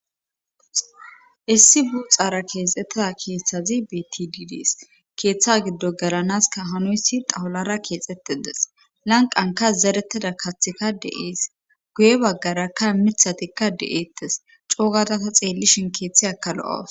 issi buuxaara keexettia keeththazi bti diides keeththa giddo galanaska hanuysi daholara keexxette des lanqanka zerettida kathika de7iis guye baggarakka mithatikka de7eettes coogata ta xeellishin keeththe aka lo7awus